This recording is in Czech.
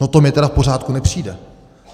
No to mi tedy v pořádku nepřijde.